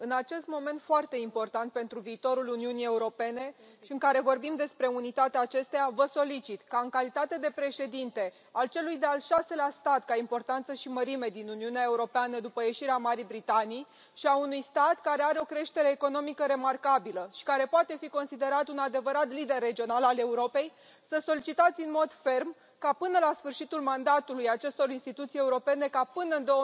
Domnule Președinte, în acest moment foarte important pentru viitorul Uniunii Europene și în care vorbim despre unitatea acesteia, vă solicit ca, în calitate de președinte al celui de al șaselea stat ca importanță și mărime din Uniunea Europeană după ieșirea Marii Britanii și a unui stat care are o creștere economică remarcabilă și care poate fi considerat un adevărat lider regional al Europei, să solicitați în mod ferm ca până la sfârșitul mandatului acestor instituții europene ca până în